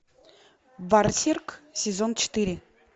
берсерк сезон четыре